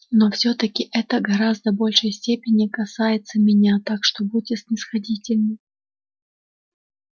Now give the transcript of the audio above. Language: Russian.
но всё-таки это гораздо большей степени касается меня так что будьте снисходительны